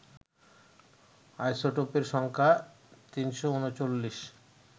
আইসোটোপের সংখ্যা ৩৩৯